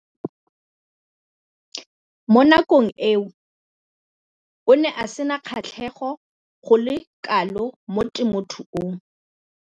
Mo nakong eo o ne a sena kgatlhego go le kalo mo temothuong.